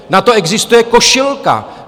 Na to existuje košilka.